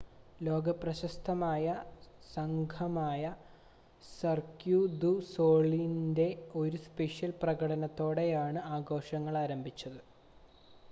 ലോക പ്രശസ്തമായ സംഘമായ സർക്യൂ ദു സൊളീലിൻ്റെ ഒരു സ്പെഷ്യൽ പ്രകടനത്തോടെയാണ് ആഘോഷങ്ങൾ ആരംഭിച്ചത്